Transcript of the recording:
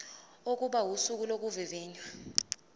kokuba usuku lokuvivinywa